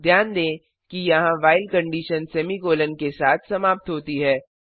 ध्यान दें कि यहां व्हाइल कंडिशन सेमीकॉलन के साथ समाप्त होती है